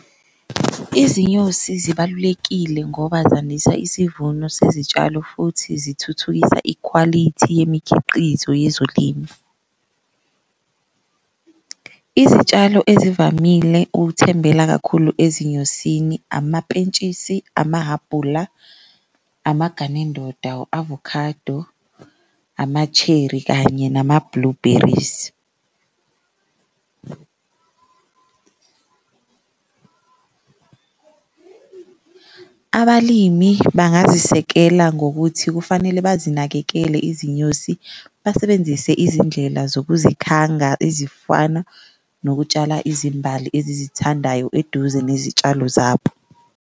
Izinyosi zibalulekile ngoba zandisa isivuno sezitshal futhi zithuthukisa ikhwalithi yemikhiqizo yezolimo, izitshalo ezivamile ukuthembela kakhulu ezinyosini amapentshisi, amahhabula, amaganendoda, u-avocado, ama-cherry kanye nama-blueberries. Abalimi bangazisekela ngokuthi kufanele bazinakekele izinyosi basebenzise izindlela zokuzikhanga, ezifana nokutshala izimbali ezizithandayo eduze nezitshalo zabo.